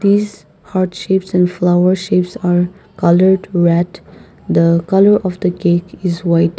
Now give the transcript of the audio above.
this heart shapes and flower shapes are coloured wat the colour of the cake is white.